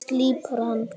Slípar hana.